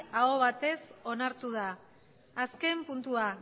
aho batez onartu da azken puntua